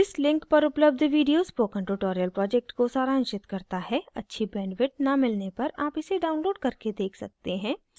इस link पर उपलब्ध video spoken tutorial project को सारांशित करता है अच्छी bandwidth न मिलने पर आप इसे download करके देख सकते हैं